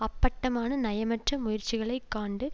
அப்பட்டமான நயமற்ற முயற்சிகளை காண்டு